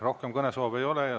Rohkem kõnesoove ei ole.